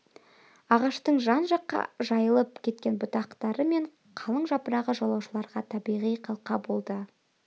ағаштың жан-жаққа жайылып кеткен бұтақтары мен қалың жапырағы жолаушыларға табиғи қалқа болды